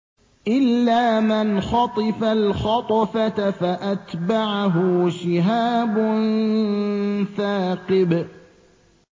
إِلَّا مَنْ خَطِفَ الْخَطْفَةَ فَأَتْبَعَهُ شِهَابٌ ثَاقِبٌ